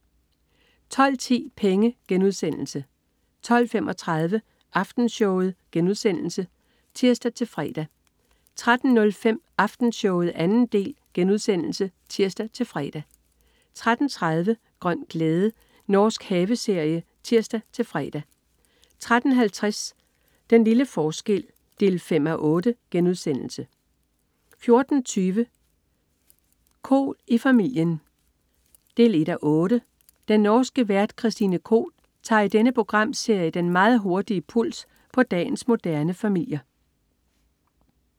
12.10 Penge* 12.35 Aftenshowet* (tirs-fre) 13.05 Aftenshowet 2. del* (tirs-fre) 13.30 Grøn glæde. Norsk haveserie (tirs-fre) 13.50 Den lille forskel 5:8* 14.20 Koht i familien 1:8. Den norske vært Christine Koht tager i denne programserie den meget hurtige puls på dagens moderne familier